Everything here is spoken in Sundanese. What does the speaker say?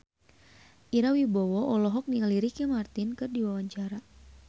Ira Wibowo olohok ningali Ricky Martin keur diwawancara